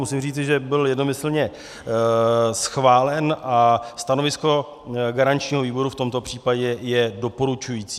Musím říci, že byl jednomyslně schválen a stanovisko garančního výboru v tomto případě je doporučující.